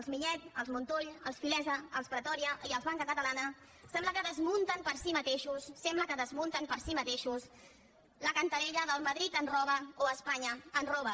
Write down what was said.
els millet els montull els filesa els pretòria i els banca catalana sembla que desmunten fer si mateixos la cantarella del madrid ens roba o espanya ens roba